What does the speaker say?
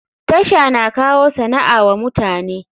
TASHA na kawo sana'a wa mutane.